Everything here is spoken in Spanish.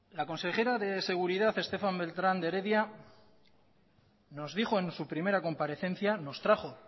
la consejera de seguridad estefanía beltrán de heredia nos dijo en su primera comparecencia nos trajo